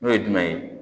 N'o ye jumɛn ye